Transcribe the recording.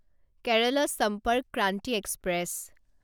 Kerala Sampark Kranti express